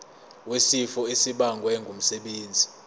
wesifo esibagwe ngumsebenzi